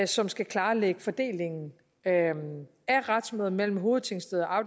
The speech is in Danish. som skal klarlægge fordelingen af retsmøder mellem hovedtingsteder